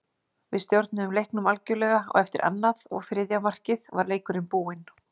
Við stjórnuðum leiknum algjörlega og eftir annað og þriðja markið var leikurinn búinn,